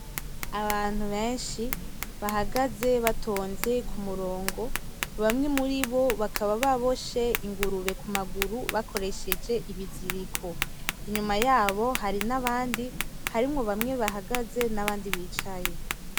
Abantu beshi bahagaze batonze k'umurongo bamwe muribo bakaba baboshe ingurube ku maguru bakoresheje ibiziriko inyuma yabo hari n'abandi harimwo bamwe bahagaze n'abandi bicaye.